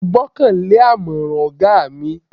Mo gbọ́kan lé àmọ̀ràn ọ̀gá mi.